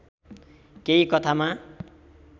केही कथामा